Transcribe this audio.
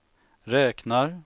räknar